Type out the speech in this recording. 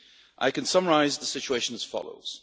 I can summarise the situation as follows.